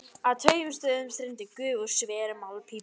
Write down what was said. Á tveimur stöðum streymdi gufa úr sverum málmpípum.